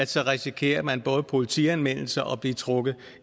så risikerer man både politianmeldelse og at blive trukket